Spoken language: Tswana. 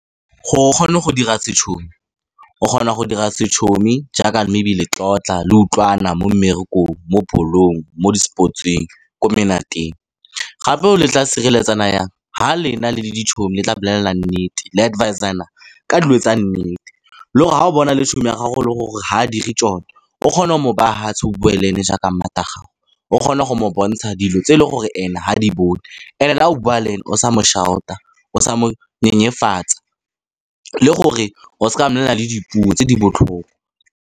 Gore o kgone go dira , o kgona go dira jaaka maybe le tlotla, le utlwana mo mmerekong, mo ball-ong, mo di-sports-eng, ko menateng. Gape le tla sireletsana jang, fa lena le le le tla bolela nnete, le advisor-ana ka dilo tsa nnete. Le gore fa o bona le ya gago, le gore ga a dire tsone, o kgone go mo baya mofatshe o bue le ene jaaka gago, o kgone go mo bontsha dilo tse e leng gore ene ga di bone. And-e le fa o bua le ene, o sa mo shout-a, o sa mo nyenyefatsa, le gore o seka wa mmolelela le dipuo tse di botlhoko.